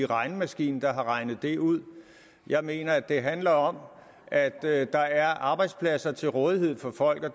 regnemaskine der har regnet det ud jeg mener det handler om at at der er arbejdspladser til rådighed for folk og